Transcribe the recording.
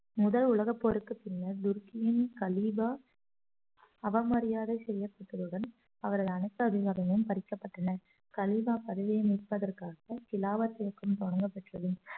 முதல் உலகப் போருக்குப் பின்னர் துருக்கியின் கலீபா அவமரியாதை செய்யப்பட்டதுடன் அவர்கள் அனைத்து அதிகாரமும் பறிக்கப்பட்டன கலீபா பதவியை மீட்பதற்காக கிலாவத் இயக்கம் தொடங்கப்பட்டது